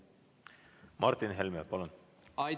Martin Helme, palun!